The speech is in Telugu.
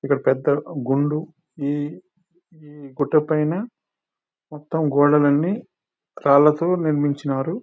ఇక్కడ పెద్ద గుండు. ఈ గొట్టపైన మొత్తం గోడలన్నీ రాళ్లతో నిర్మించినారు.